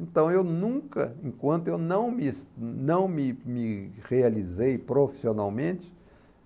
Então eu nunca, enquanto eu não me não me me realizei profissionalmente,